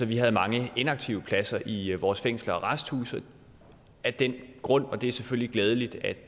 vi havde mange inaktive pladser i vores fængsler og arresthuse af den grund og det er selvfølgelig glædeligt at